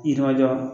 Yirimajɔ